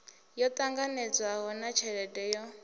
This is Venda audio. yo ṱanganedzwaho na tsheledo yo